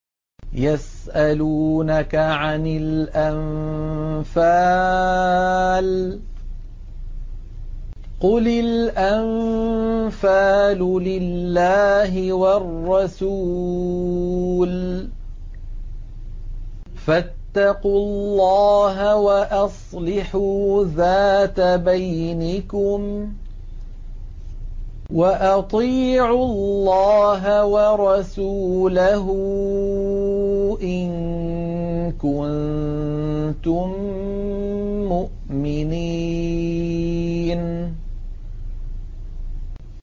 يَسْأَلُونَكَ عَنِ الْأَنفَالِ ۖ قُلِ الْأَنفَالُ لِلَّهِ وَالرَّسُولِ ۖ فَاتَّقُوا اللَّهَ وَأَصْلِحُوا ذَاتَ بَيْنِكُمْ ۖ وَأَطِيعُوا اللَّهَ وَرَسُولَهُ إِن كُنتُم مُّؤْمِنِينَ